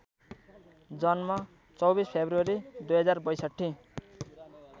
जन्म २४ फेब्रुअरी २०६२